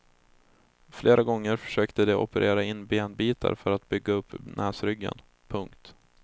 Flera gånger försökte de operera in benbitar för att bygga upp näsryggen. punkt